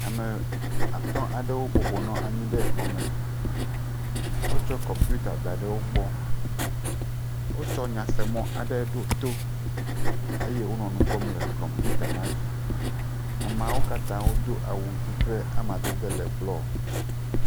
Ame atɔ̃ aɖewo bɔbɔ nɔ anyi ɖe xɔ me. Wotsɔ kɔmpita da ɖe wo gbɔ. Wotsɔ nyasemɔ aɖe ɖo to eye wonɔ nu kpɔm le kɔmpita la dzi. Ameawo katã do awu zi ƒe amadede le blɔ.